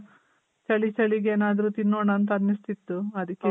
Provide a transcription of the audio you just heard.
ಚಳಿ ಚಳಿಗೆ ಏನಾದ್ರು ತಿನ್ನೋಣ ಅಂತ್ ಅನ್ನಿಸ್ತಿತ್ತು . ಅದಕ್ಕೆ